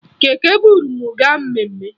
Keke buru m gaa mmemme